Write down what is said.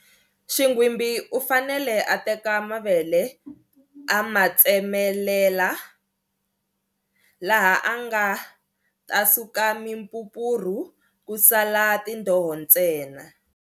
Xinghwimbi u fanele a teka mavele a matsemelela, laha a nga ta suka mimpumpurhu ku sala tindoho ntsena.